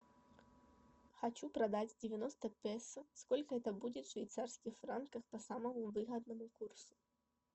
хочу продать девяносто песо сколько это будет в швейцарских франках по самому выгодному курсу